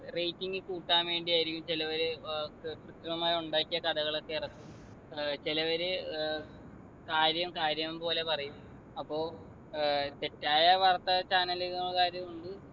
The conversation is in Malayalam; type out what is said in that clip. rating കൂട്ടാൻ വേണ്ടി ആയിരിക്കും ചിലോര് ഏർ കൃത്രിമമായി ഉണ്ടാക്കിയ കഥകളൊക്കെ ഇറക്കും ഏർ ചിലവര് ഏർ കാര്യം കാര്യം പോലെ പറയും അപ്പൊ ഏർ തെറ്റായ വാർത്താ channel കാരു ഉണ്ട്